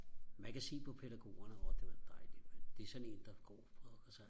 man kan se på pædagogerne åh det var dejligt mand det er sådan en der går på altså